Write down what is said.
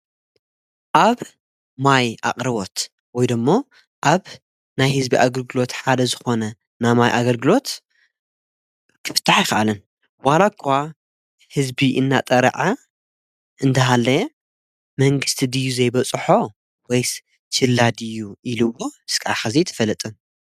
ኣብ ማይ ኣቕረቦት ወይዶ እሞ ኣብ ናይ ሕዝቢ ኣግልግሎት ሓደ ዝኾነ ናማይ ኣገልግሎት ክፍትሕ ይኸኣልን ዋላ እኳ ሕዝቢ እናጠራዐ እንተሃለየ መንግሥቲ ድዩ ዘይበጽሖ ወይስ ጭላድዩ ኢሉእሞ ስቃኸ ዘይ ትፈልጥን።